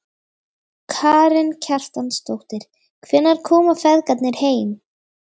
Karen Kjartansdóttir: Hvenær koma feðgarnir heim?